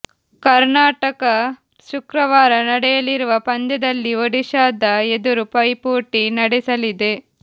ಕರ್ನಾಟಕ ಶುಕ್ರವಾರ ನಡೆಯಲಿ ರುವ ಪಂದ್ಯದಲ್ಲಿ ಒಡಿಶಾದ ಎದುರು ಪೈಪೋಟಿ ನಡೆಸಲಿದೆ